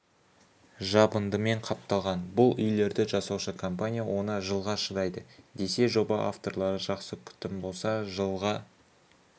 жабындыменқапталған бұл үйлерді жасаушы компания оны жылға шыдайды десе жоба авторлары жақсы күтім болса жылға